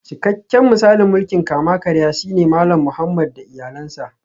Cikakken misalin mulkin kama-karya shine Malam Muhammad da iyalansa